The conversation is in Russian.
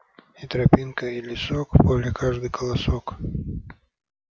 и тропинка и лесок в поле каждый колосок